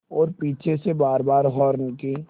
और पीछे से बारबार हार्न की